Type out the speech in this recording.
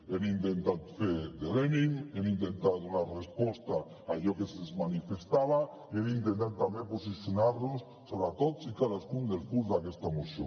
hem intentat fer de lenin hem intentar donar resposta a allò que se’ns manifestava i hem intentat també posicionar nos sobre tots i cadascun dels punts d’aquesta moció